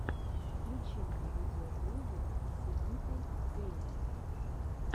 включи мне видеоблоги синиты гэйминг